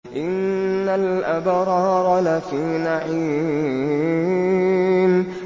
إِنَّ الْأَبْرَارَ لَفِي نَعِيمٍ